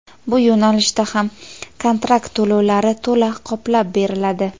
bu yo‘nalishda ham kontrakt to‘lovlari to‘la qoplab beriladi.